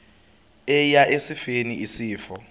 eya esifeni isifo